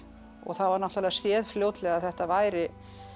og það var náttúrulega séð fljótlega að þetta væri